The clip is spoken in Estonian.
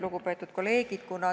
Lugupeetud kolleegid!